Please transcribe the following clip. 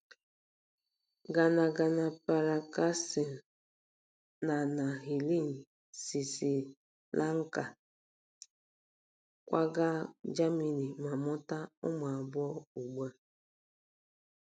Gnanapirakasam na na Helen si Sri Lanka kwaga Germany ma mụta ụmụ abụọ ugbu a.